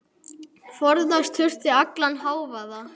Forðast þurfti allan hávaða.